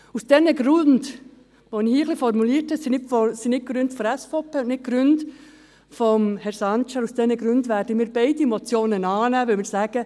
Aus diesen Gründen, die ich hier ein wenig formuliert habe – es sind nicht Gründe der SVP und nicht Gründe von Herrn Sancar –, werden wir beide Motionen annehmen, weil wir sagen: